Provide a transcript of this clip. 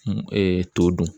t'o dun